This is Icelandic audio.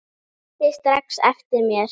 Hann mundi strax eftir mér.